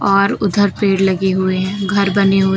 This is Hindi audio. और उधर पेड़ लगे हुए हैं घर बने हुए--